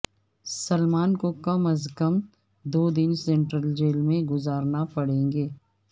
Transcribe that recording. سلمان کو کم از کم دو دن سینٹرل جیل میں گزارنا پڑیں گے